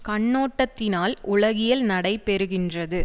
கண்ணோட்டத்தினால் உலகியல் நடைபெறுகின்றது